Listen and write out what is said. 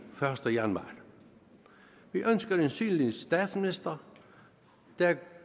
første januar vi ønsker en synlig statsminister der er